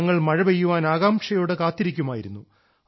ഞങ്ങൾ മഴപെയ്യാൻ ആകാംക്ഷയോടെ കാത്തിരിക്കുമായിരുന്നു